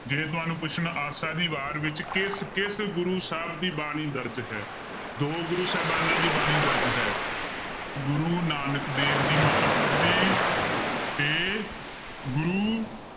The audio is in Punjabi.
ਜੇ ਤੁਹਾਨੂੰ ਪੁੱਛਣ ਆਸਾ ਦੀ ਵਾਰ ਵਿੱਚ ਕਿਸ ਕਿਸ ਗੁਰੂ ਸਾਹਿਬ ਦੀ ਬਾਣੀ ਦਰਜ਼ ਹੈ ਦੋ ਗੁਰੂ ਸਾਹਿਬਾਨਾਂ ਦੀ ਬਾਣੀ ਦਰਜ਼ ਹੈ ਗੁਰੂ ਨਾਨਕ ਦੇਵ ਜੀ ਮਹਾਰਾਜ ਦੀ ਤੇ ਗੁਰੂ